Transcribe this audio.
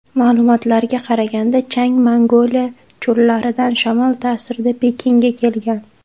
Ma’lumotlarga qaraganda chang Mongoliya cho‘llaridan shamol ta’sirida Pekinga kelgan.